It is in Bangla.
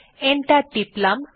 এন্টার টিপলাম